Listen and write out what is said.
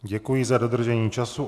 Děkuji za dodržení času.